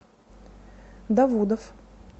давудов